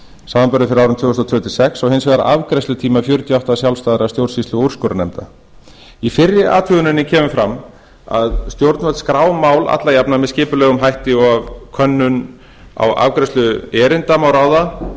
samanber eftir árin tvö þúsund og þrjú til tvö þúsund og sex og hins vegar afgreiðslutíma fjörutíu og átta sjálfstæðra stjórnsýslu og úrskurðarnefnda í fyrri athuguninni kemur fram að stjórnvöld skrá mál alla jafna með skipulegum hætti og af könnun á afgreiðslu erinda má ráða